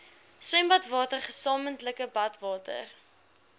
swembadwater gesamentlike badwater